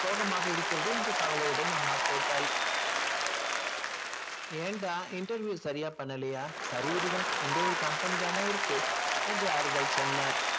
சோகமாக இருக்கிறது என்ற கவலையுடன் அம்மா கேட்டாள் ஏன்டா interview சரியா பண்ணலயா சரி விடுடா இந்த ஒரு company தானே இருக்கு என்று ஆறுதல் சொன்னார்